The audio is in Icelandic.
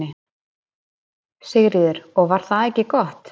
Sigríður: Og var það ekki gott?